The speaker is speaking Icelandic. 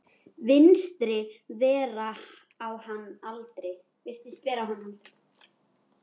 Virtist vera á hans aldri.